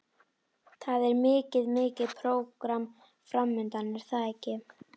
Það er mikið, mikið prógram framundan er það ekki?